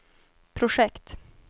projekt